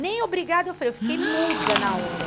Nem obrigada, eu falei, eu fiquei muda na hora.